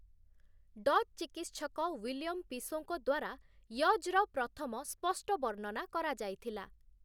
Dutch ଚିକିତ୍ସକ Willem ପିସୋଙ୍କ ଦ୍ଵାରା 'ୟଜ୍'ର ପ୍ରଥମ ସ୍ପଷ୍ଟ ବର୍ଣ୍ଣନା କରାଯାଇଥିଲା ।